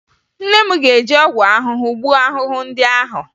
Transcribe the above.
Nne m ga-eji ọgwụ ahụhụ gbuo ahụhụ ndị ahụ